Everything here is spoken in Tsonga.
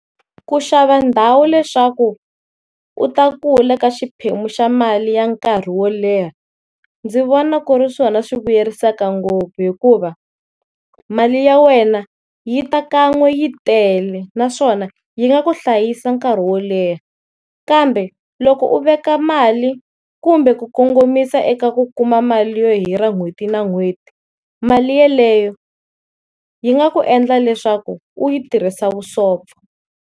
Ku xava ndhawu leswaku u ta kula ka xiphemu xa mali ya nkarhi wo leha ndzi vona ku ri swona swi vuyerisaka ngopfu hikuva mali ya wena yi ta kan'we yi tele naswona yi nga ku hlayisa nkarhi wo leha, kambe loko u veka mali kumbe ku kongomisa eka ku kuma mali yo hirha n'hweti na n'hweti mali yeleyo yi nga ku endla leswaku u yi tirhisa vusopfa.